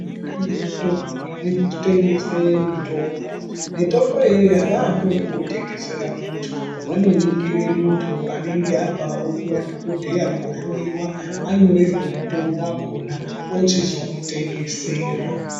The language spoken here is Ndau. Kune zvitoro zvinotengesa mitombo. Mitombo iyoyo avaambi vekungotengesera muntu vanoningire muntu anenge abvawo kwadhokodheya kwohloyiwa anyorerwe mutombo wakona ochizomutengesera.